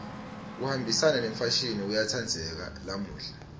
kuhambisana nemfashini kuyatsandzeka lamuhla